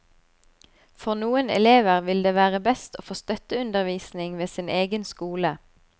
For noen elever vil det være best å få støtteundervisning ved sin egen skole.